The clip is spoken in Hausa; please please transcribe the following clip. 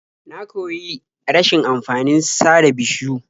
Na koyi rashin amfanin sare bishiyu.